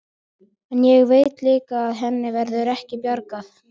En ég veit líka að henni verður ekki bjargað.